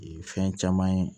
Fɛn caman ye